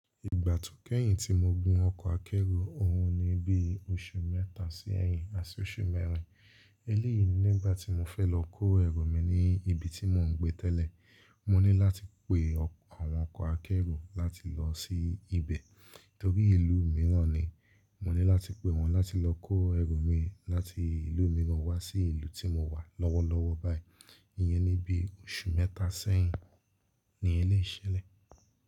Ìgbà tó kẹ́yìn tí mo gùn ọkọ̀ akẹ́rù, òhun ni bí oṣù mẹ́ta sẹ́yìn àti oṣù mẹ́rin. Eléyìí nígbà tí mo fẹ́ lọ kó ẹrù mi ní ibi tí mò ń gbé tẹ́lẹ̀. Mo ní láti pe àwọn ọkọ̀ akẹ́rù láti lọ sí ibẹ̀, torí ìlú mìíràn ni. Mo ní láti pe wọn láti lọ kó ẹrù mi láti ìlú mìíràn wá sí ìlú tí mò wà lọ́wọ́lọ́wọ́ báyìí. Iyẹn ni bí oṣù mẹ́ta sẹ́yìn ni ẹ lè ṣẹlẹ̀.